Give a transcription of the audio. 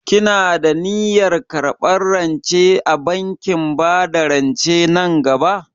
Kina da niyyar karɓar rance a bankin bada rance nan gaba?